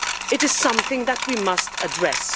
It is something that we must address.